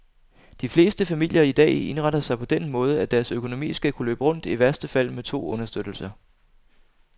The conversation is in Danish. De fleste familier i dag indretter sig på den måde, at deres økonomi skal kunne løbe rundt i værste fald med to understøttelser.